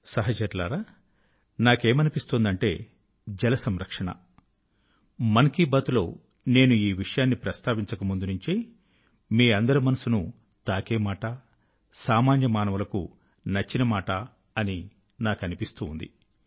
సహచరులారా నాకేమనిపిస్తుందంటే జల సంరక్షణ మన్ కీ బాత్ లో నేను ఈ విషయాన్ని ప్రస్తావించక ముందు నుంచే మీ అందరి మనసును తాకే మాట సామాన్య మానవులకు నచ్చిన మాట అని నాకు అనిపిస్తూ ఉంది